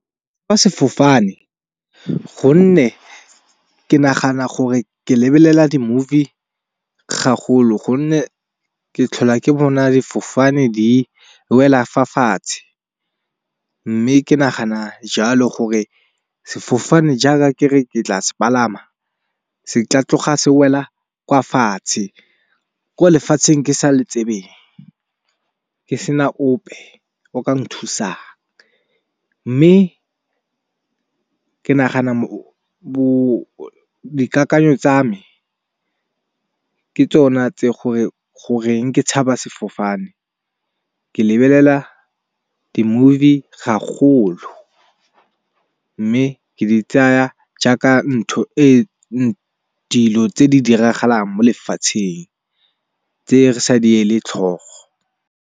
Sefofane gonne ke nagana gore ke lebelela di movie ga golo gonne ke tlhola ke bona difofane di wela fa fatshe. Mme ke nagana jalo gore sefofane jaaka ke re ke tla se palama se tla tloga se wela kwa fatshe, ko lefatsheng ke sa le tsebeng ke sena ope o ka nthusang. Mme ke nagana dikakanyo tsa me ke tsona tse goreng ke tshaba sefofane. Ke lebelela di movie gagolo mme ke di tsaya jaaka ntho tse di diragalang mo lefatsheng tse re sa di le tlhogo.